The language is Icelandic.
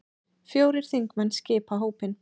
Fjórir þingmenn skipa hópinn.